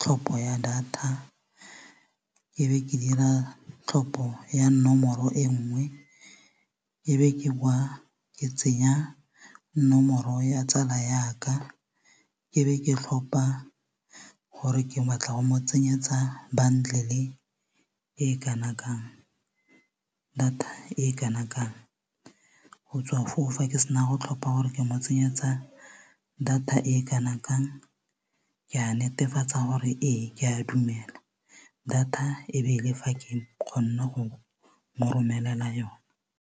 tlhopho ya data e be ke dira tlhopho ya nomoro e nngwe ke be ke bowa ke tsenya nomoro ya tsala yaka ke be ke tlhopa gore ke baatla go mo tsenyetsa bundle e kanangkang data e kana kang go tswa foo fa ke sena go tlhopha gore ke mo tsenyetsa tsa data e kana kang ke a netefatsa gore ee ke a dumela data e be le fa ke kgonne go mo romelela yone.